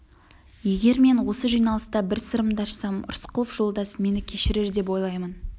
егер мен осы жиналыста бір сырымды ашсам рысқұлов жолдас мені кешірер деп ойлаймын